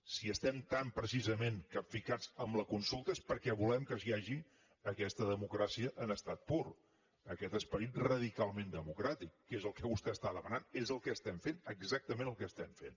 si estem tant precisament capficats en la consulta és perquè volem que hi hagi aquesta democràcia en estat pur aquest esperit radicalment democràtic que és el que vostè està demanant és el que estem fent exactament el que estem fent